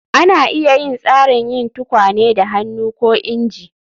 Ana iya yin tsarin yin tukwane da hannu ko inji